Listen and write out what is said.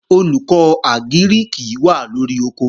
Olùkọ́ Àgírìkì wà lóri oko